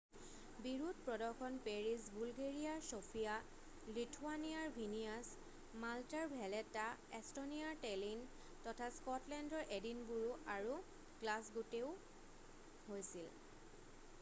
বিৰোধ প্ৰদৰ্শন পেৰিছ বুলগেৰীয়াৰ চফীয়া লিথুৱানীয়াৰ ভিনীয়াছ মালটাৰ ভেলেটা এষ্টনীয়াৰ টেলিন তথা স্কটলেণ্ডৰ এডিনবোৰো আৰু গ্লাছগোতও হৈছিল